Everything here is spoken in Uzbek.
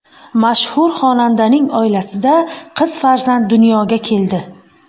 Mashhur xonandaning oilasida qiz farzand dunyoga keldi.